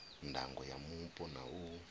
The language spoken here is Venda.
ndango ya mupo na u